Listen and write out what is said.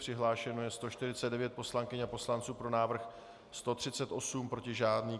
Přihlášeno je 149 poslankyň a poslanců, pro návrh 138, proti žádný.